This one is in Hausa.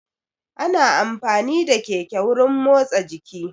Ana amfani da keke wurin motsa jiki